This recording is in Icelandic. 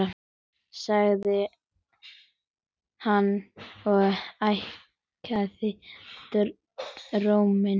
sagði hann og hækkaði róminn.